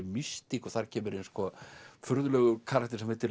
mystík og þar kemur furðulegur karakter sem heitir